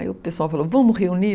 Aí o pessoal falou, vamos reunir?